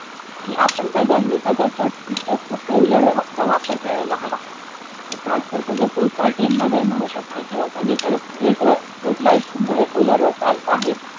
की, आपण सगळ्यांनी सगळ्यात जास्तीत जास्त सोलारचा वापर करायला हवा. तस आजकाल सगळ्या सोसायटीनमध्ये म्हणू शकते किवा सगळीकडे स्ट्रीटवर स्ट्रीट लाईटसुद्धा हे सोलारवर चालता आहेत,